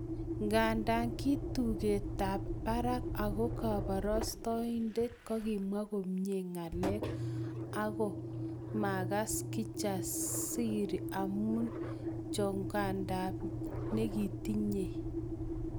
Nganda ki tugetab barak ako koborostoindet kokimwa komie ngalek, ago makas Kijasiri amu chokanda nekitinyei